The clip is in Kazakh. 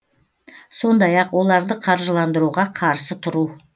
сондай ақ оларды қаржыландыруға қарсы тұру